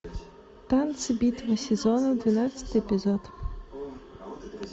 танцы битва сезонов двенадцатый эпизод